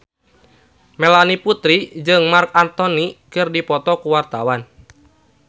Melanie Putri jeung Marc Anthony keur dipoto ku wartawan